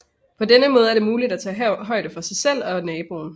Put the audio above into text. På denne måde er det muligt at tage højde for sig selv og naboen